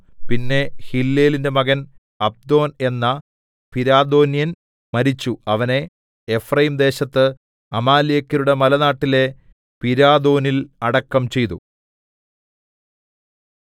പിന്നെ ഹില്ലേലിന്റെ മകൻ അബ്ദോൻ എന്ന പിരാഥോന്യൻ മരിച്ചു അവനെ എഫ്രയീംദേശത്ത് അമാലേക്യരുടെ മലനാട്ടിലെ പിരാഥോനിൽ അടക്കം ചെയ്തു